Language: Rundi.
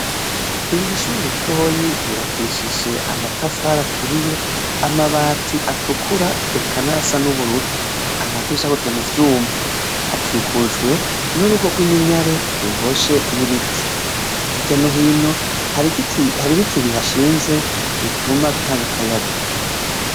Iri rishuri ritoyi ryubakishije amatafara aturiye amabati atukura ekanara sa n'ubururu amadishakozwe mu vyuma hakikujwe n'urugo rw'iminyare ruroshe n'ibiti iryano hino hari biti bihashinze bituma bitanga akayaga.